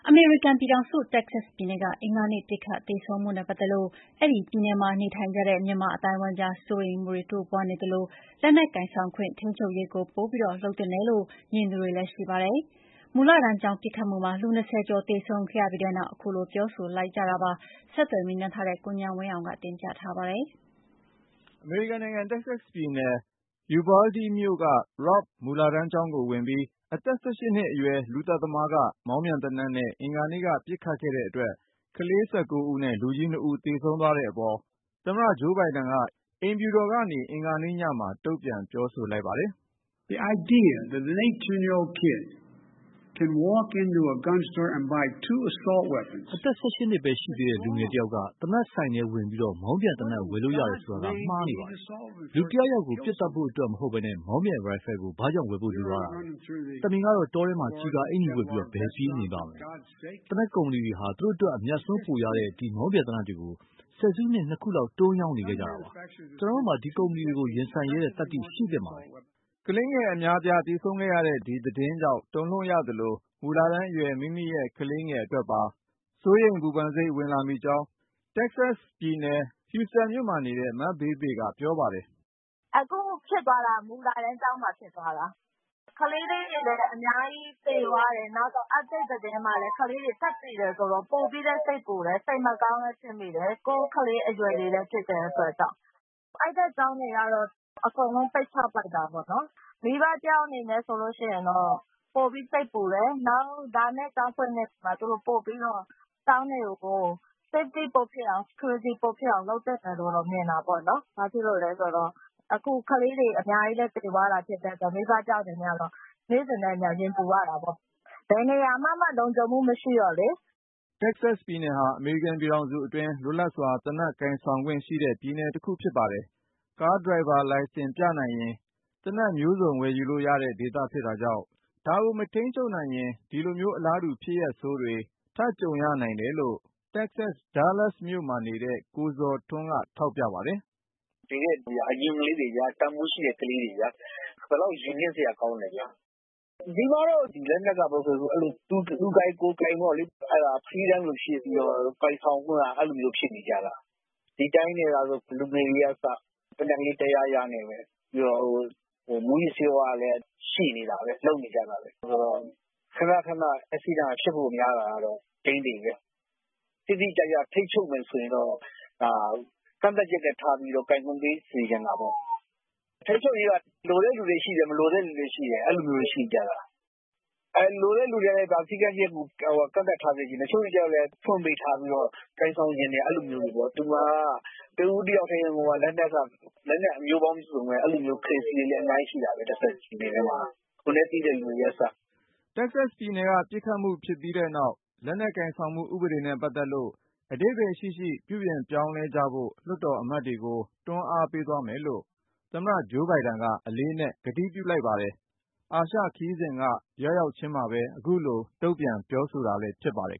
အမေရိကန်ပြည်ထောင်စု တက္ကဆက်ပြည်နယ်က အင်္ဂါနေ့ ပစ်ခတ် သေဆုံးမှုနဲ့ ပတ်သက်လို့ အဲဒီပြည်နယ်မှာ နေထိုင်ကြတဲ့ မြန်မာအသိုင်းအဝိုင်းကြား စိုးရိမ်မှုတွေ တိုးပွားနေသလို၊ လက်နက်ကိုင်ဆောင်ခွင့် ထိန်းချုပ်ရေးကို ပိုပြီး လုပ်သင့်တယ်လို့ မြင်သူတွေလည်း ရှိပါတယ်။ မူလတန်းကျောင်း ပစ်ခတ်မှုမှာ လူ(၂၀)ကျော် သေဆုံးခဲ့ရပြီးနောက် ခုလို ပြောဆိုလိုက်ကြတာပါ။ ဆက်သွယ် မေးမြန်းထားတဲ့ ကိုဉာဏ်ဝင်းအောင်က တင်ပြမှာပါ။ အမေရိကန်နိုင်ငံ တက္ကဆက်ပြည်နယ် ယူဗားလ်ဒီးမြို့(Uvalde)က Robb မူလတန်းကျောင်းကိုဝင်ပြီး အသက် ၁၈ နှစ်အရွယ် လူသတ်သမားက မောင်းပြန်သေနတ်နဲ့ အင်္ဂါနေ့က ပစ်ခတ်ခဲ့တဲ့အတွက် ကလေး ၁၉ ဦးနဲ့ လူကြီး ၂ ဦး သေဆုံးသွားတဲ့အပေါ် သမ္မတ ဂျိုးဘိုင်ဒန်က အိမ်ဖြူတော်ကနေ အင်္ဂါနေ့ညမှာ တုံ့ပြန် ပြောဆိုလိုက် ပါတယ်။ “အသက် ၁၈ နှစ်ဘဲရှိသေးတဲ့ လူငယ်တယောက်က သေနတ်ဆိုင်တဲ့ဝင်ပြီး မောင်းပြန်သေနတ် ဝယ်လို့ရတယ်ဆိုတာဟာ မှားယွင်းနေပါတယ်။ လူတယောက်ယောက်ကို ပစ်သတ်ဖို့အတွက်မဟုတ်ဘဲ မောင်းပြန်ရိုင်ဖယ်ကို ဘာကြောင့် ဝယ်ဖို့လိုရတာလဲ။ သမင်ကတော့ တောထဲမှာ ကျည်ကာအင်္ကျီဝတ်ပြီး ဘယ်ပြေးနေပါ့မလဲ။ သေနတ်ကုမ္ပဏီတွေဟာ သူတို့အတွက် အမြတ်အစွန်းပိုရတဲ့ ဒီမောင်းပြန်သေနတ်တွေကို ဆယ်စုနှစ် ၂ ခုလောက် တွန်းရောင်းနေခဲ့ကြတာပါ။ ကျနော်တို့မှာ ဒီကုမ္ပဏီတွေကို ရင်ဆိုင်ရဲတဲ့သတ္တိ ရှိသင့်ပါတယ်။” ကလေးငယ် အများအပြား သေဆုံးခဲ့ရတဲ့ ဒီသတင်းကြောင့် တုန်လှုပ်ရသလို၊ မူလတန်းအရွယ် မိမိရဲ့ ကလေးငယ်အတွက်ပါ စိုးရိမ်ပူပန်စိတ် ဝင်လာမိကြောင်း တက္ကဆက်ပြည်နယ် Houston မြို့နေ မဘေးဘေ က ပြောပါတယ်။ " အခု ဖြစ်သွားတာက မူလတန်းကျောင်းမှာ ဖြစ်သွားတာ ၊ ကလေးလေးတွေလည်း အများကြီး သေသွားတယ်။ နောက်ထပ် သတင်းတွေမှာလည်း ကလေးတွေ ထပ်သေတာဆိုတော့ ပိုပြီးလည်း စိတ်ပူတယ် စိတ်မကောင်းလည်း ဖြစ်မိတယ်၊ ကိုယ့်ကလေး အရွယ်လည်း ဖြစ်တာဆိုတော့။ အဲဒီဖက် ကျောင်းတွေကတော့ အကုန်လုံး ပိတ်ချလိုက်ပြီ။ မိဘ တယောက်အနေနဲ့ ဆိုလို့ရှိရင်တော့ ပိုပြီး စိတ်ပူတယ်၊ နောက် လာမယ့် ကျောင်းဖွင့်ချိန်ကျရင် ကျောင်းတွေကို သူတို့အနေနဲ့ ပိုပြီးတော့ လုံခြုံမှုရှိအောင် ပိုလုပ်သင့်တယ်လို့တော့ မြင်တာပေါ့ ။ ဘာလို့လည်းဆိုတော့ အခုက ကလေးတွေ အများကြီး သေသွားတာဆိုတော့ မိဘတယောက် အနေနဲ့ကတော့ နေ့စဉ်နဲ့အမျှ ရင်ပူရတာပေါ့။ ဘယ်နေရာမှာမှ လုံခြုံမှု မရှိတော့လေ။" တက္ကဆက်ပြည်နယ်ဟာ အမေရိကန်ပြည်ထောင်စုအတွင်း လွတ်လပ်စွာ သေနတ်ကိုင်ဆောင်ခွင့်ရှိတဲ့ ပြည်နယ်တခု ဖြစ်ပါတယ်။ ကားဒရိုင်ဘာ လိုင်စင်ပြနိုင်ရင် သေနတ်မျိုးစုံ ဝယ်ယူလို့ရတဲ့ဒေသ ဖြစ်တာကြောင့် ဒါကို မထိန်းချုပ်နိုင်ရင် ဒီလိုမျိုး အလားတူ ဖြစ်ရပ်ဆိုးတွေ ထပ်ကြုံရနိုင်တယ်လို့ Dallas မြို့က ကိုဇော်ထွန်းက ထောက်ပြပါတယ်။ " သေတဲ့လူတွေက အရုပ်လေးတွေလိုပဲ ၊ တန်ဖိုးရှိတဲ့ ကလေးတွေဗျာ ဘယ်လောက် ရင်နင့်စရာ ကောင်းလဲ။ ဒီပြည်နယ်မှာတော့ လက်နက်က သူကိုင်ကိုယ်ကိုင် ပေါ့လေ၊ အဲဒါ Freedom လို ဖြစ်နေတာဆိုတော့ ကိုင်ဆောင်ခွင့်က အဲလိုကို ဖြစ်နေတာ။ ဒီအတိုင်းသာဆို ဒီက လူငယ်တွေကအစ သေနတ်ကလေး တယားယားနဲ့ပဲ။ ပြီးတော့ မူးယစ်ဆေးဝါးတွေကလည်း ရနေတာပဲ လုပ်နေကြတာပဲ ဆိုတော့ ခနခန ပစ်ခတ်မှုဖြစ်ဖို့ များတာကတော့ သေချာတယ်။ တိတိကျကျ ထိန်းချုပ်မယ်ဆိုရင်တော့ ကန့်သတ်ချက်ထားပြီးမှ ကိုင်ဆောင်ခွင့် ပေးသင့်တာပေါ့။ လက်နက် ထိန်းချုပ်ရေးက လိုလားတဲ့လူတွေ ရှိသလို၊ မလိုလားတဲ့ သူတွေလည်း ရှိတယ်။ လိုတဲ့လူတွေကတော့ စည်းကမ်းချက်တွေ ထားစေချင်တာပေါ့။ တချို့တွေ ကျတော့လည်း ဖွင့်ပေးထားပြီးတော့ ကိုင်ဆောင်ချင်တယ် အဲလိုမျိုးတွေပေ့ါ။ ဒီမှာက တဦးတယောက်ထဲမှာကို လက်နက်က လက်နက်ပေါင်း မျိုးစုံ ဝယ်ကိုင်နေကြတာ။ အဲလိုမျိုးပဲ လက်နက် ကြိုက်နှစ်သက်တဲ့ crazy တွေလည်း အများကြီး ရှိကြတယ် ဒီ တက္ကဆက်ပြည်နယ်ထဲမှာ။ ကိုယ်နဲ့သိတဲ့ လူတွေက အစပေါ့။ " တက္ကဆက်ပြည်နယ်က ပစ်ခတ်မှုဖြစ်ခဲ့ပြီးနောက် လက်နက်ကိုင်ဆောင်မှု ဥပဒေနဲ့ပတ်သက်လို့ အဓိပ္ပါယ်ရှိရှိ ပြုပြင်ပြောင်းလဲကြဖို့ လွှတ်တော် အမတ်တွေကို တွန်းအားပေးသွားမယ်လို့ သမ္မတ ဂျိုးဘိုင်ဒန်က အလေးအနက် ကတိပြုလိုက်ပါတယ်။ အာရှခရီးစဉ်က ရောက်ရောက်ခြင်းမှာ ခုလို တုံ့ပြန်လိုက်တာလည်း ဖြစ်ပါတယ်